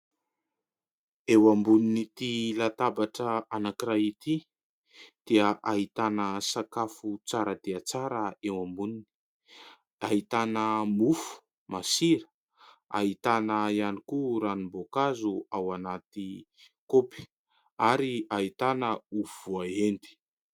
Eo ambonin'ity latabatra anankiray ity dia ahitana sakafo tsara dia tsara eo amboniny, ahitana mofo masira, ahitana ihany koa ranom-boakazo ao anaty kaopy ary ahitana ovy voahendy.